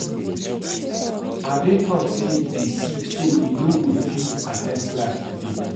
Ade talk say he dey sick so he no go fit at ten d class today